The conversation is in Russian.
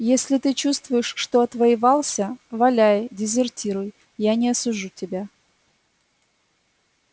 если ты чувствуешь что отвоевался валяй дезертируй я не осужу тебя